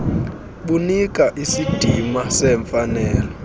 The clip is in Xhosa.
kunika isidima semfanelo